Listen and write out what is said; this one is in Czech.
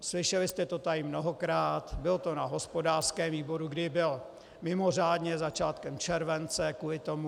Slyšeli jste to tady mnohokrát, bylo to na hospodářském výboru, který byl mimořádně začátkem července kvůli tomu.